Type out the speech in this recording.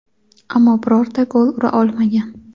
ammo birorta gol ura olmagan;.